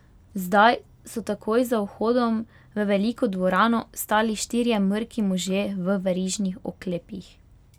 Zdaj so takoj za vhodom v veliko dvorano stali štirje mrki možje v verižnih oklepih.